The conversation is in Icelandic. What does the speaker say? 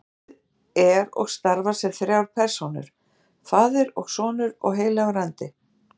Guð er og starfar sem þrjár persónur, faðir og sonur og heilagur andi.